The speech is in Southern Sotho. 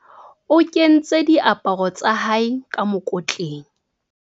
O kentse diaparo tsa hae ka mokotleng.